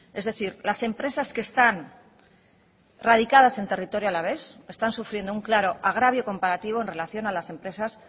es decir las empresas que están radicadas en territorio alavés están sufriendo un claro agravio comparativo en relación a las empresas